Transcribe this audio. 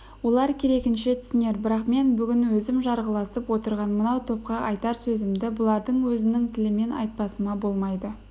олар керегінше түсінер бірақ мен бүгін өзім жарғыласып отырған мынау топқа айтар сөзімді бұлардың өзінің тілімен айтпасыма болмайды